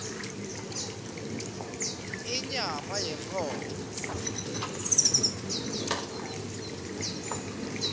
inyama yenkhomo